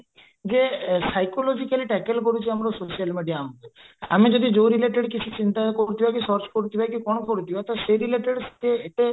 ଯେ psychology ଆମେ ଯଦି ଯୋଉ related କିଛି ଚିନ୍ତା କରୁଥିବା କି search କରୁଥିବା କି କଣ କରୁଥିବା ସେଇ related ଏତେ ଏତେ